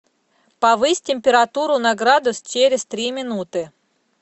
повысь температуру на градус через три минуты